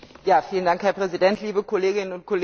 Herr Präsident, liebe Kolleginnen und Kollegen!